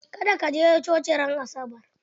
Ka da ka je coci ran asabar!